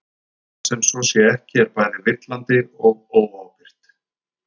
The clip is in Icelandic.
að láta sem svo sé ekki er bæði villandi og óábyrgt